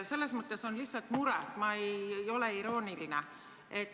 Selles mõttes on lihtsalt mure, ma ei ole irooniline.